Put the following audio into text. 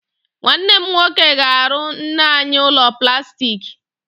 Nwanne m nwoke ga-arụrụ nne anyị ụlọ plastiki